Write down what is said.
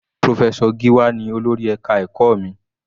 Professor Giwa ní olórí ẹka ẹ̀kọ́ mi.